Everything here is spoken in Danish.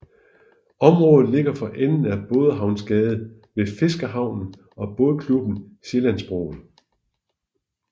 Området ligger for enden af Bådehavnsgade ved Fiskerhavnen og Bådklubben Sjællandsbroen